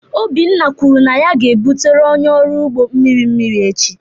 Obinna kwuru na ya ga-ebutere onye ọrụ ugbo mmiri mmiri echi.